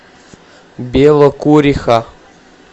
белокуриха